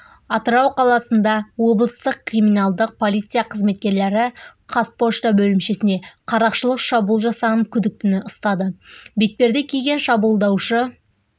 атырау қаласында облыстық криминалдық полиция қызметкерлері қазпошта бөлімшесіне қарақшылық шабуыл жасаған күдіктіні ұстады бетперде киген шабуылдаушы